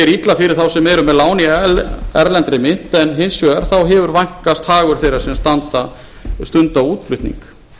illa fyrir þá sem eru með lán í erlendri mynt en hins vegar hefur vænkast hagur þeirra sem stunda útflutning